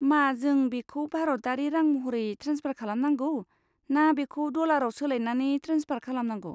मा जों बेखौ भारतारि रां महरै ट्रेन्सफार खालामनांगौ ना बेखौ डलाराव सोलायनानै ट्रेन्सफार खालामनांगौ?